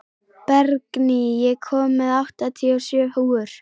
Bergný, ég kom með áttatíu og sjö húfur!